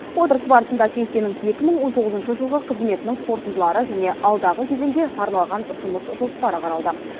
отырыс барысында кеңсенің екі мың он тоғызыншы жылғы қызметінің қорытындылары және алдағы кезеңге арналған жұмыс жоспары қаралды